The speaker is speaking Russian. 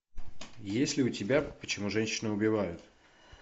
есть ли у тебя почему женщины убивают